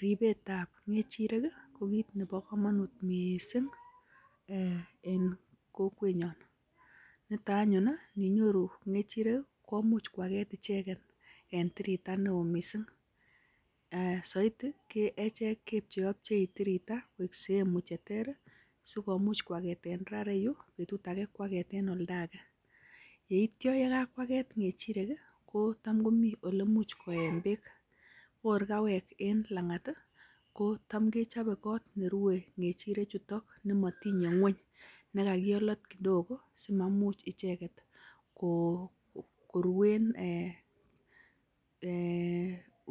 Ribetab ng'echirek ii, ko kit nebo komonut mising en kokwenyon. Niton anyun ii ininyoru ng'echirek komuch koaget ichegen en tirita neo mising. Soiti, echek kepcheopchei tirita koik sehemu che ter ii asikomuch koageten raa ireyu, betut age ko ageten oldo age. Ye ityo ye kakwaget ng'echirek, kotam komi ole imuch koen beek. Ko kor kawek en lang'at, kotamkechope kot ne rue ng'echirechutok nemotinye ng'weny, ne kagisolot kidogo asi maimuch icheget koruen